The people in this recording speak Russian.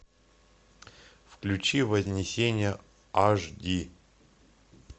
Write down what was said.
включи вознесение аш ди